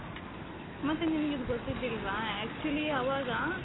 ಮತ್ತೆ ನಿಮಗಿದು ಗೊತ್ತಿದಿಲ್ವಾ actually ಅವಾಗ